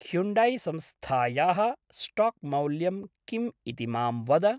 हुण्डैसंस्थायाः स्टाक्मौल्यं किम् इति मां वद।